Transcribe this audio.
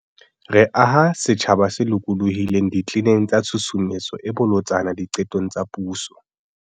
Re aha setjhaba se lokolohileng ditleneng tsa Tshusumetso e Bolotsana Diqetong tsa Puso